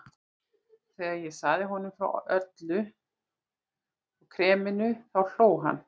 Þegar ég sagði honum frá Öllu og kreminu þá hló hann.